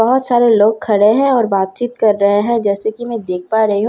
बहोत सारे लोग खड़े हैं और बातचीत कर रहे हैं जैसे कि मैं देख पा रही हूं।